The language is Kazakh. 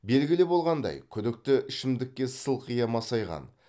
белгілі болғандай күдікті ішімдікке сылқия масайған